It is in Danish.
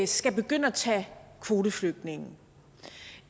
skal begynde at tage kvoteflygtninge